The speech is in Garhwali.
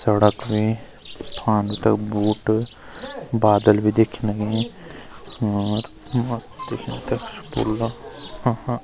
सड़क भी फान तख बूट बादल भी दिखेंण लगीं और मस्त दिखेंद पूरो गौ अ हा।